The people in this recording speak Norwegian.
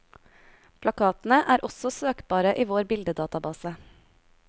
Plakatene er også søkbare i vår bildedatabase.